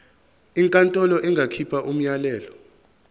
inkantolo ingakhipha umyalelo